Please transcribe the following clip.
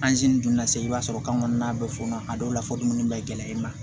donna segu i b'a sɔrɔ kan kɔnɔna bɛ fɔɔnɔ a dɔw la fɔ dumuni bɛ gɛlɛya i ma